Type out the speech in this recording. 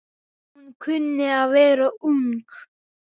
Hún kunni að vera ung.